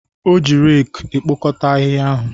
O ji reeku ekpokọta ahịhịa ahụ